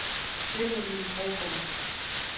Benjamin Brogaard